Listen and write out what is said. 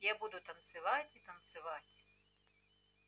я буду танцевать и танцевать